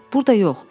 Burda yox.